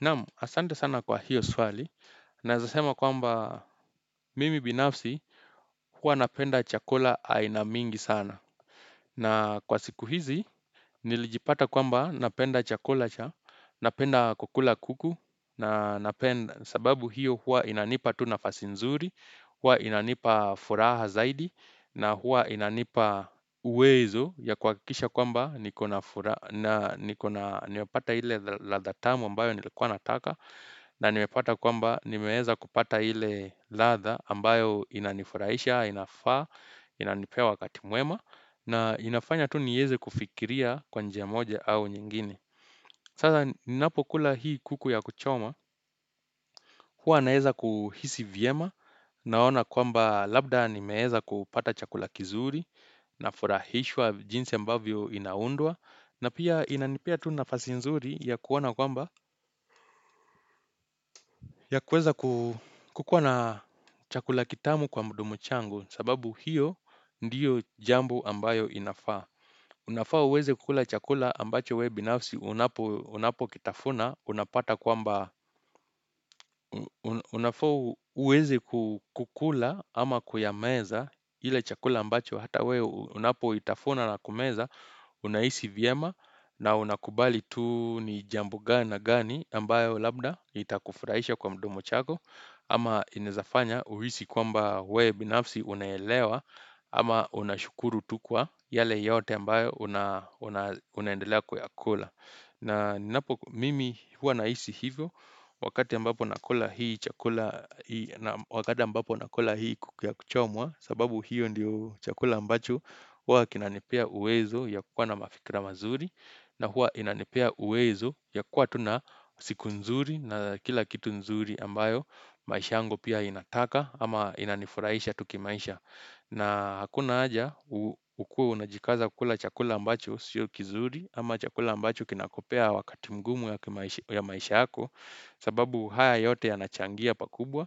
Naam asante sana kwa hiyo swali naeza sema kwamba mimi binafsi huwa napenda chakula aina mingi sana na kwa siku hizi nilijipata kwamba napenda chakula cha napenda kukula kuku na napenda sababu hiyo hua inanipa tu nafasi nzuri huwa inanipa furaha zaidi na huwa inanipa uwezo ya kuhakikisha kwamba nikona furaha na nikona nimepata ile ladha tamu ambayo nilikuwa nataka na nimepata kwamba nimeeza kupata ile ladha ambayo inanifurahisha, inafaa, inanipea wakati mwema na inafanya tu nieze kufikiria kwa njia moja au nyingine Sasa ninapokula hii kuku ya kuchoma, huwa naeza kuhisi vyema Naona kwamba labda nimeeza kupata chakula kizuri, nafurahishwa jinsi ambavyo inaundwa na pia inanipea tu nafasi nzuri ya kuona kwamba ya kuweza kukuwa na chakula kitamu kwa mdomo changu sababu hiyo ndiyo jambo ambayo inafaa. Unafaa uweze kukula chakula ambacho we binafsi unapokitafuna, unapata kwamba, unafaa uweze kukula ama kuyameza ile chakula ambacho hata we unapoitafuna na kumeza, unahisi vyema na unakubali tu ni jambo gani gani ambayo labda itakufraisha kwa mdomo chako. Ama inaeza fanya uhisi kwamba we binafsi unaelewa ama unashukuru tu kwa yale yote ambayo unaendelea kuyakula. Na ninapo mimi huwa nahisi hivyo wakati ambapo nakula hii chakula, wakati ambapo nakula hii kuku ya kuchomwa sababu hiyo ndio chakula ambacho huwa kinanipea uwezo ya kuwa na mafikra mazuri. Na hua inanipea uwezo ya kuwa tu na siku nzuri na kila kitu nzuri ambayo maisha yangu pia inataka ama inanifuraisha tu kimaisha. Na hakuna aja ukue unajikaza kula chakula ambacho sio kizuri ama chakula ambacho kinakupea wakati mgumu ya maisha yako sababu haya yote yanachangia pakubwa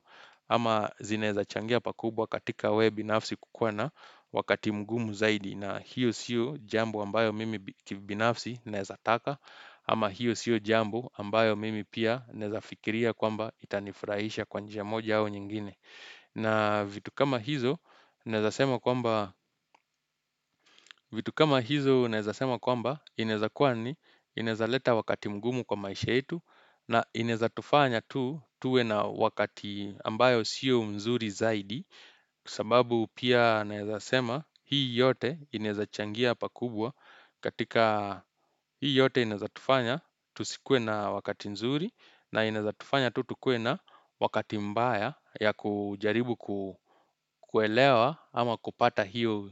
ama zinaeza changia pakubwa katika we binafsi kukuwa na wakati mgumu zaidi na hiyo siyo jambo ambayo mimi kibinafsi naeza taka Ama hiyo siyo jambo ambayo mimi pia naeza fikiria kwamba itanifurahisha kwa njia moja au nyingine na vitu kama hizo naeza sema kwamba inaeza kuwa ni inaeza leta wakati mgumu kwa maisha yetu na inaeza tufanya tuwe na wakati ambayo siyo mzuri zaidi kwa sababu pia naeza sema hii yote inaeza changia pakubwa katika hii yote inaeza tufanya tusikuwe na wakati nzuri na inaeza tufanya tu tukuwe na wakati mbaya ya kujaribu kuelewa ama kupata hiyo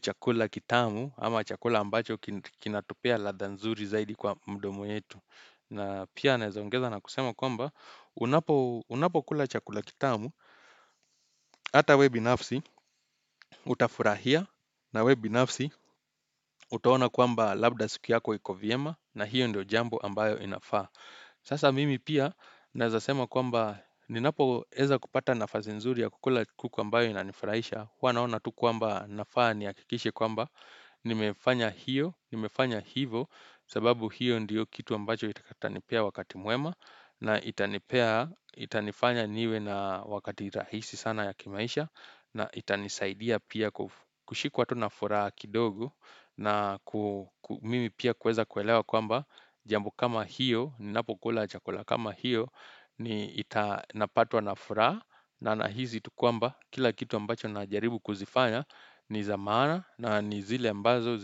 chakula kitamu ama chakula ambacho kinatupea ladha nzuri zaidi kwa mdomo yetu na pia naeza ongeza na kusema kwamba unapokula chakula kitamu Hata we binafsi, utafurahia na we binafsi, utaona kwamba labda siku yako iko vyema na hiyo ndio jambo ambayo inafaa. Sasa mimi pia naeza sema kwamba ninapoeza kupata nafasi nzuri ya kukula kuku ambayo inanifurahisha. Huwa naona tu kwamba nafaa nihakikishe kwamba nimefanya hiyo, nimefanya hivo, sababu hiyo ndio kitu ambacho itanipea wakati mwema. Na itanipea, itanifanya niwe na wakati rahisi sana ya kimaisha na itanisaidia pia kushikwa tu na furaha kidogo na mimi pia kueza kuelewa kwamba Jambo kama hiyo, ninapokula chakula kama hiyo, ni napatwa na furaha na nahizi tu kwamba, kila kitu ambacho najaribu kuzifanya ni za maana, na ni zile ambazo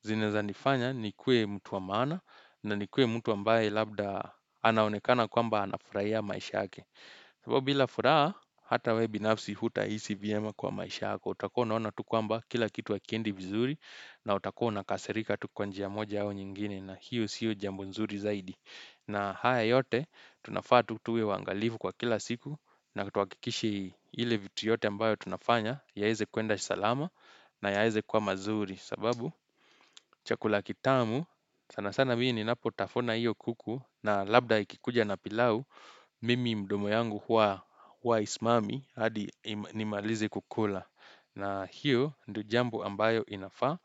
zinaeza nifanya nikue mtu wa maana na nikue mtu ambaye labda anaonekana kwamba anafuraia maisha yake kwaivo bila furaa hata we binafsi hutahisi vyema kwa maisha yako utakuwa unaona tu kwamba kila kitu hakiendi vizuri na utakuwa unakasirika tu kwa njia moja au nyingine na hiyo siyo jambo nzuri zaidi na haya yote tunafaa tu tuwe waangalifu kwa kila siku na tuhakikishe ile vitu yote ambayo tunafanya Yaeze kuenda salama na yaeze kuwa mazuri sababu, chakula kitamu, sana sana mii ninapotafuna hiyo kuku na labda ikikuja na pilau, mimi mdomo yangu huwa haismami hadi nimalize kukula na hiyo ndo jambo ambayo inafaa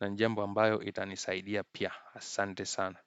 na ni jambo ambayo itanisaidia pia Asante sana.